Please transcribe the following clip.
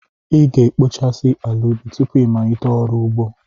Ị ga-ekpochasị ala ubi tupu ịmalite ọrụ ugbo.